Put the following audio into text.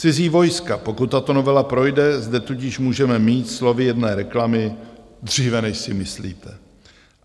Cizí vojska, pokud tato novela projde, zde tudíž můžeme mít slovy jedné reklamy "dříve, než si myslíte".